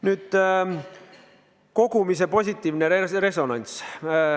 Nüüd, kogumise positiivne resonants.